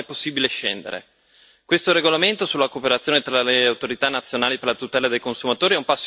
Questo regolamento sulla cooperazione tra le autorità nazionali per la tutela dei consumatori è un passo in avanti in questa direzione.